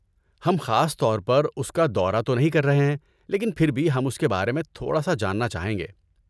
ہم خاص طور پر اس کا دورہ تو نہیں کر رہے ہیں، لیکن پھر بھی ہم اس کے بارے میں تھوڑا سا جاننا چاہیں گے۔